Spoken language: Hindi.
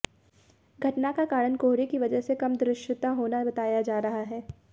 घटना का कारण कोहरे के वजह से कम दृश्यता होना बताया जा रहा है